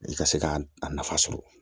I ka se k'a a nafa sɔrɔ